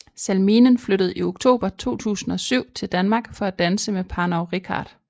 Salminen flyttede i oktober 2007 til Danmark for at danse med Parnov Reichardt